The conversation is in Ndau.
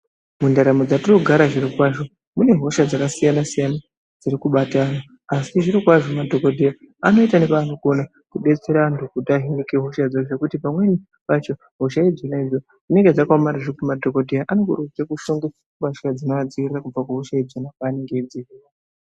Mundaramo dzetinogara zvirokwazvo, mune hosha dzakasiyana siyana dziri kubata antu asi zvirokwazvo madhokodheya vanoita nepavanokona kudetsera antu kuti vahinike hosha ngekuti pamweni pacho hosha dzona idzodzo dzinenge dzakaomarara zvekuti madhokodheya anofanire kufuke mbatya dzinovadzivirire kubve kuhosha dzona idzodzo.